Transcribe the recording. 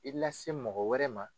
I lase mɔgɔ wɛrɛ ma